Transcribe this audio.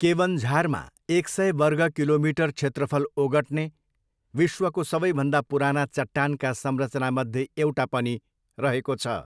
केवन्झारमा एक सय वर्ग किलोमिटर क्षेत्रफल ओगट्ने विश्वको सबैभन्दा पुराना चट्टानका संरचनामध्ये एउटा पनि रहेको छ।